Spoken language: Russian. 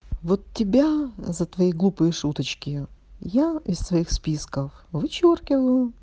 вот тебя за твои глупые шуточки я из своих списков вычёркиваю